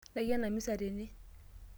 Ntai ena misa tene.